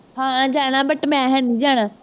ਹਾਂ ਜਾਣਾ, but ਮੈਂ ਹੈ ਨਹੀਂ ਜਾਣਾ